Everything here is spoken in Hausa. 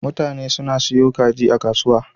Mutane suna siyo kaji a kasuwa.